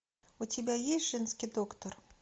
у тебя есть женский доктор